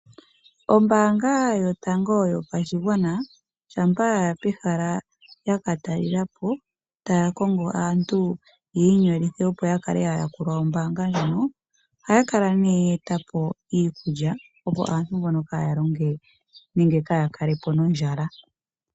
Ombaanga yotango yopashigwana shampa ya ya pehala yaka talela po taya kongo aantu yi inyolithe, opo ya kale aayakulwa yombaanga ndjono ohaya kala ya eta po iikulya, opo aantu mboka kaaya longe nenge kaaya kale po nondjala.